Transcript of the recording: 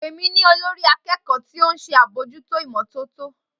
Pe mi ni olori akeeko ti o nse abojuto imototo